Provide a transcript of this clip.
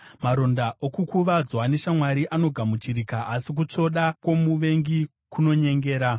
Maronda okukuvadzwa neshamwari anogamuchirika, asi kutsvoda kwomuvengi kunonyengera.